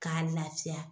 K'a lafiya